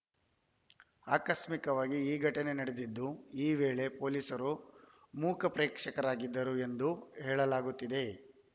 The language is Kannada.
ಆಕಸ್ಮಿಕವಾಗಿ ಈ ಘಟನೆ ನಡೆದಿದ್ದು ಈ ವೇಳೆ ಪೊಲೀಸರು ಮೂಕ ಪ್ರೇಕ್ಷಕರಾಗಿದ್ದರು ಎಂದು ಹೇಳಲಾಗುತ್ತಿದೆ